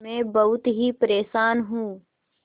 मैं बहुत ही परेशान हूँ